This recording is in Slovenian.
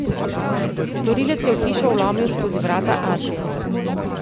Storilec je v hišo vlomil skozi vrata atrija.